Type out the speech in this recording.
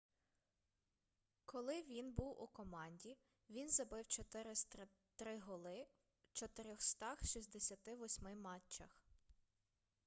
коли він був у команді він забив 403 голи в 468 матчах